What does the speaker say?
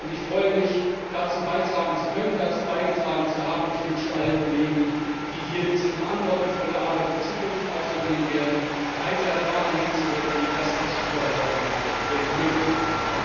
Ich freue mich, dazu beitragen zu können, dazu beigetragen zu haben. Ich wünsche allen Kollegen, die diese verantwortungsvolle Arbeit in Zukunft hier auf sich nehmen werden, weiter daran mitzuwirken, dass dies überall auf der Welt möglich wird.